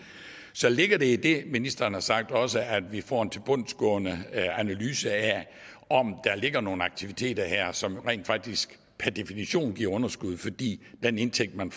så ligger der i det ministeren har sagt også at vi får en tilbundsgående analyse af om der ligger nogle aktiviteter her som rent faktisk per definition må give underskud fordi den indtægt man